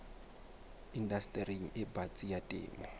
indastering e batsi ya temo